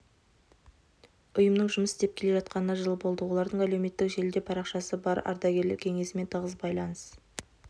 ұйымның жұмыс істеп келе жатқанына жыл болды олардың әлеуметтік желіде парақшасы бар ардагерлер кеңесімен тығыз байланыс